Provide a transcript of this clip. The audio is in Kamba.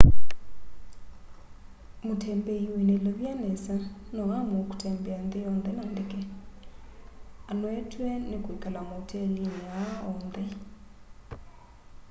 mutembei wina ilovia nesa no aamue kutembea nthi yonthe na ndeke anoetw'e ni kwikala maotelini aa on the